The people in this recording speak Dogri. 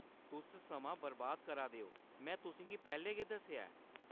तुस समां बरबाद करा दे ओ, में तुसें गी पैह्‌‌‌लें गै दस्सेआ ऐ।